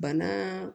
Bana